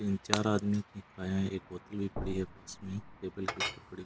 तीनचार आदमी एक बोतल भी पड़ी है पास में टेबल के ऊपर पड़ी --